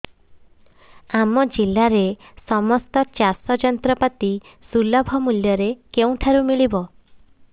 ଆମ ଜିଲ୍ଲାରେ ସମସ୍ତ ଚାଷ ଯନ୍ତ୍ରପାତି ସୁଲଭ ମୁଲ୍ଯରେ କେଉଁଠାରୁ ମିଳିବ